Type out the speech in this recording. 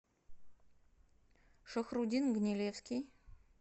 шахрудин гнилевский